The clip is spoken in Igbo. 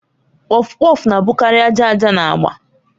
Kpọfkpọf na-abụkarị aja aja na agba